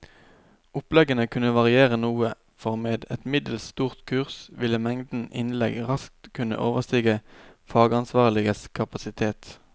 Oppleggene kunne variere noe, for med et middels stort kurs ville mengden innlegg raskt kunne overstige fagansvarliges kapasitet.